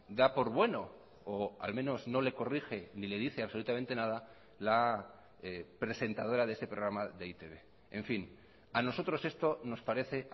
da por bueno o al menos no le corrige ni le dice absolutamente nada la presentadora de ese programa de e i te be en fin a nosotros esto nos parece